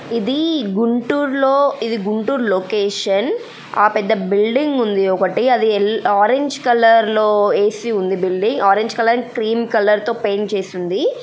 ఇది గుంటూరులో ఇది గుంటూరు లోకేషన్ . ఆ పెద్ద బిల్డింగ్ ఉంది. ఒకటి అది ఆరెంజ్ కలర్ లో ఏసి ఉంది. Building orange colour and cream colour తో పెయింట్ చేసి ఉంది.